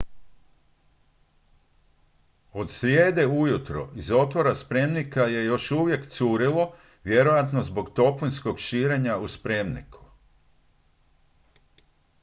od srijede ujutro iz otvora spremnika je još uvijek curilo vjerojatno zbog toplinskog širenja u spremniku